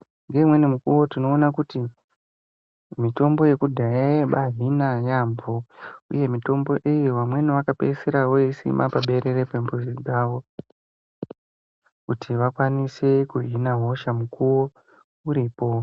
Ngeumweni mukuwo tinoona kuti mitombo yekudhaya yaibahina yaambo, Uye mitombo iyi vamweni vakapedzisira voisima paberere pembuzi dzavo kuti vakwanise kuhina hosha mukuwo uripo.